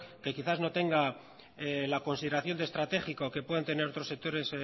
que quizás no tengala consideración de estratégico que puedan tener otros sectores